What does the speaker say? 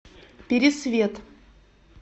пересвет